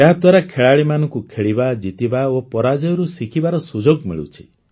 ଏହାଦ୍ୱାରା ଖେଳାଳିମାନଙ୍କୁ ଖେଳିବା ଜିତିବା ଓ ପରାଜୟରୁ ଶିଖିବାର ସୁଯୋଗ ମିଳୁଛି